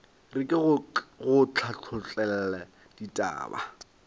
re ke go hlathollele ditaba